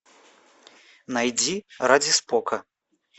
найди ради спока